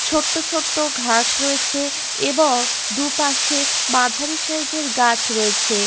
ছোট্ট ছোট্ট ঘাস রয়েছে এবং দুপাশে মাঝারি সাইজের গাছ রয়েছে।